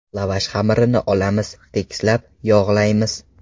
Lavash xamirini olamiz, tekislab, yog‘laymiz.